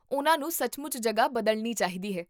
ਉਨ੍ਹਾਂ ਨੂੰ ਸੱਚਮੁੱਚ ਜਗ੍ਹਾ ਬਦਲਣੀ ਚਾਹੀਦੀ ਹੈ